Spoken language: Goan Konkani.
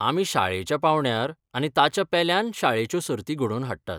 आमी शाळेच्या पांवड्यार आनी ताच्या पेल्यान शाळेच्यो सर्ती घडोवन हाडटात.